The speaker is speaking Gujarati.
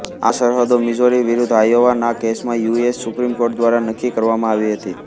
આ સરહદો મિઝોરી વિરુદ્ધ આયોવા ના કેસમાં યુ એસ સુપ્રિમકૉર્ટ દ્વારા નક્કી કરવામાં આવી હતી